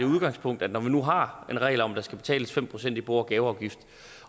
udgangspunkt at når vi nu har en regel om at der skal betales fem procent i bo og gaveafgift